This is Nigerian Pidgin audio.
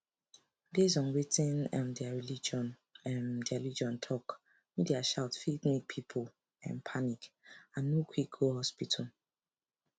based on wetin um their religion um their religion talk media shout fit make people um panic and no quick go hospital